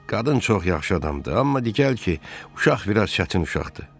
Qadın çox yaxşı adamdır, amma diqqət ki, uşaq biraz çətin uşaqdır.